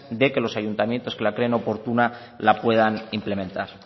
de que los ayuntamientos que la creen oportuna la puedan implementar